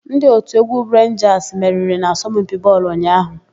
Ndị òtù égwú Renjasị meriri n'asompi bọọlụ ụnyaahụ.